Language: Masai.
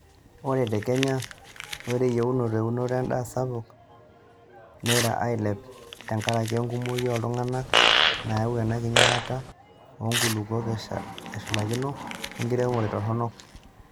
Ore te Kenya, ore eyieunoto eunoto endaa sapuk neira ailep tekaraki enkumoki ooltung'ana, nayau ena enkinyalata oonkulukuok eshulakino wenkiremore toronok.